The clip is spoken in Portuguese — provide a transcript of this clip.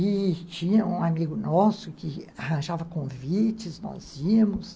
E tinha um amigo nosso que arranjava convites, nós íamos.